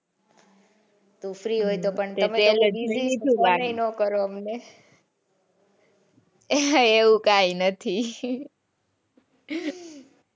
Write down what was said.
તું free તો પણ ખબર એ ના કરો અમને એવું કઈ નથી